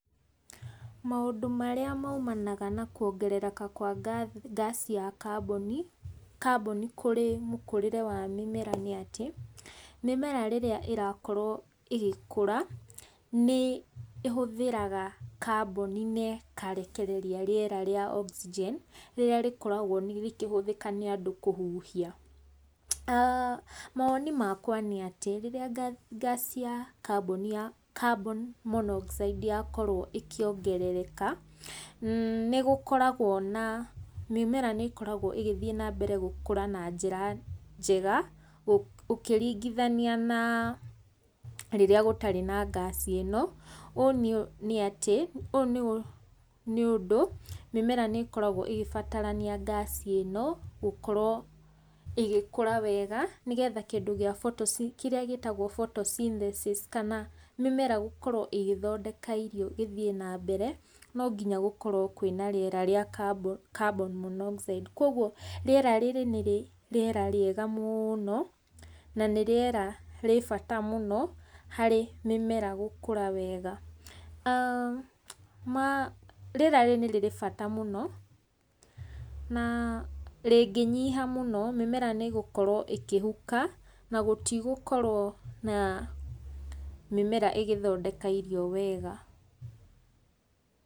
Maũndũ marĩa maumanaga na kuongereka kwa ngaci ya kambuni, kambuni kũri mũkurĩre wa mĩmera ni atĩ, mĩmera rĩrĩa irakorwo ĩgĩkũra ni ĩhuthagĩra kaboni na ĩkarekereria rĩera ria oxygen rĩrĩa rĩkoragwo rĩkihuthika ni andũ kũhuhia. Maoni makwa nĩ atĩ rĩrĩa ngaci ya kaboni ya carbon monoxide yakorwo ĩkiongerereka nĩgũkoragwo na, mĩmera nĩkoragwo ĩgĩthii na mbere gũkura na njĩra njega, ũkiringithania na rĩrĩa gũtarĩ na ngaci ĩno ũũ ni atĩ, ũũ nĩũndũ mĩmera nĩkoragwo ĩkĩbatarania ngaci ĩno gũkorwo ĩgĩkũra wega, nĩgetha kĩndũ kia, kĩrĩa gĩtaagwo photosynthesis kana mĩmera gũkorwo ĩgithondeka irio gĩthii na mbere no nginya gũkorwo kwĩna rĩera ria carbon monoxide koguo rĩera rĩrĩ nĩ rĩera riega mũno na ni rĩera rĩ bata mũno harĩ mĩmera gũkura wega. Rĩera rĩrĩ ni rĩrĩ bata mũno na rĩngĩnyiha mũno, mĩmera nĩgũkorwo ĩkihuka na gũtigũkorwo na mĩmera ĩgithondeka irio wega.